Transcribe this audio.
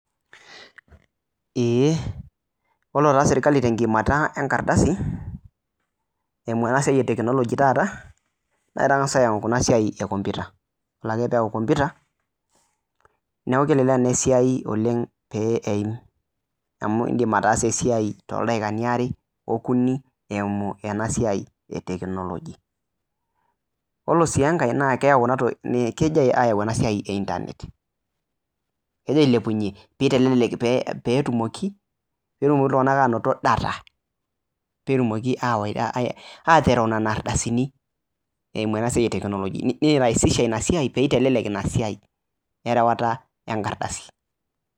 Eee ore taa serkali tenkiimata enkardasi, eimuu ena siai e tekinologi taata, naa ketangas ayau ena siai kompita. Idol ajo ore pee eyau kompita niaku kelelek naa esia oleng pew eim. Amuu indim ataasa esiai tooldaikani aare, okuni eimu ena siai e tekinologi. Yiolo sii enkai naa ore ena siai naa keji ayau eba siai eitanet kegira ailepunyie pee eitelelek peyie etumoki, peetumoki iltunganak aanoto data peetumoki awaita, aatereu nena ardasini. Eimu nena siai tekinologi. Neiraisisha ina siai pee eitelelek ina siaierewata enkardasi